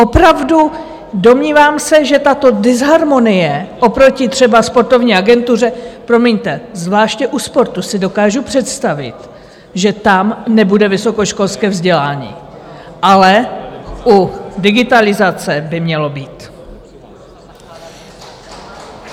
Opravdu, domnívám se, že tato disharmonie oproti třeba sportovní agentuře - promiňte, zvláště u sportu si dokážu představit, že tam nebude vysokoškolské vzdělání, ale u digitalizace by mělo být.